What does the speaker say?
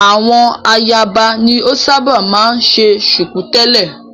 Àwọn ayaba ni o ṣábà máa ń ṣe ṣùkú tẹ̀lẹ́.